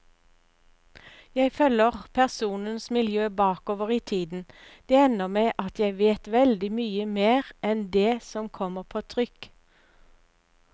Jeg følger personenes miljø bakover i tiden, det ender med at jeg vet veldig mye mer enn det som kommer på trykk.